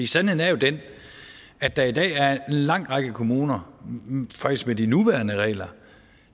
sandheden er jo den at der i dag er en lang række kommuner faktisk med de nuværende regler